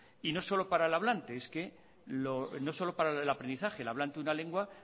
y no solo para el hablante no solo para el aprendizaje el hablante de una lengua